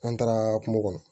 An taara kungo kɔnɔ